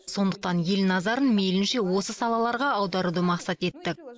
сондықтан ел назарын мейлінше осы салаларға аударуды мақсат еттік